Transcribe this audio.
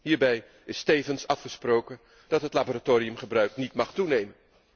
Hierbij is tevens afgesproken dat het laboratoriumgebruik niet mag toenemen.